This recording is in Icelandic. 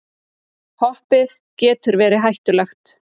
Hoppið getur verið hættulegt